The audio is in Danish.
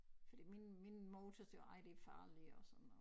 Fordi min min mor til hun siger også ej det farligt og sådan noget